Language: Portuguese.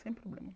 Sem problema.